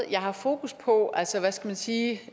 jeg har fokus på altså hvad skal man sige